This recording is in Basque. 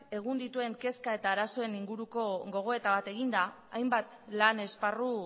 egun dituen kezka eta arazoen inguruko gogoeta bat eginda hainbat lan esparru